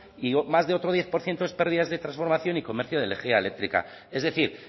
y más de otro diez por ciento es pérdidas de transformación y comercio de energía eléctrica es decir